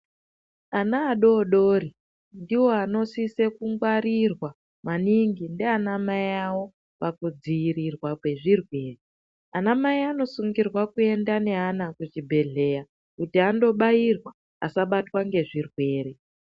Ana adodori ndiwo anosise kungwarirwa maningi ndiana mai awo pakudziirirwa kwezvirwere, anamai anosungirirwa kuenda neana kuchibhedhleya kuti andobairwa asabatwa ngezvirwere.